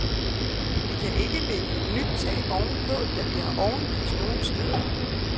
Vi kan ikke lægge et nyt tag ovenpå, da vi har ovenlys nogle steder.